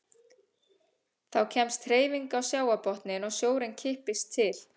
Þá kemst hreyfing á sjávarbotninn og sjórinn kippist til.